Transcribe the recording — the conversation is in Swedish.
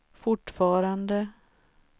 fortfarande